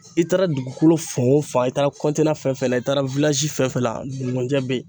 i taara dugukolo fan o fan i taara fɛn fɛn la i taara fɛn fɛn la ngunjɛ be ye.